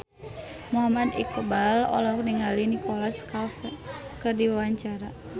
Muhammad Iqbal olohok ningali Nicholas Cafe keur diwawancara